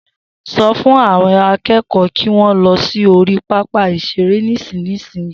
So fún àwọn akẹ́kọ̀ọ́ kí wọn lọ sí orí pápá ìṣeré nísinsìnyí